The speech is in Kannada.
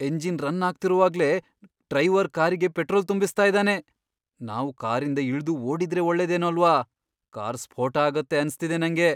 ಎಂಜಿನ್ ರನ್ ಆಗ್ತಿರುವಾಗ್ಲೇ ಡ್ರೈವರ್ ಕಾರಿಗೆ ಪೆಟ್ರೋಲ್ ತುಂಬಿಸ್ತಾ ಇದಾನೆ. ನಾವು ಕಾರಿಂದ ಇಳ್ದು ಓಡಿದ್ರೆ ಒಳ್ಳೇದೇನೋ ಅಲ್ವಾ? ಕಾರ್ ಸ್ಫೋಟ ಆಗತ್ತೆ ಅನ್ಸ್ತಿದೆ ನಂಗೆ.